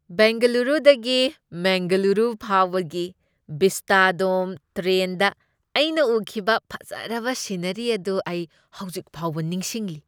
ꯕꯦꯡꯒꯂꯨꯔꯨꯗꯒꯤ ꯃꯦꯡꯒꯂꯨꯔꯨ ꯐꯥꯎꯕꯒꯤ ꯚꯤꯁꯇꯥꯗꯣꯝ ꯇ꯭ꯔꯦꯟꯗ ꯑꯩꯅ ꯎꯈꯤꯕ ꯐꯖꯔꯕ ꯁꯤꯅꯔꯤ ꯑꯗꯨ ꯑꯩ ꯍꯧꯖꯤꯛ ꯐꯥꯎꯕ ꯅꯤꯡꯁꯤꯡꯂꯤ꯫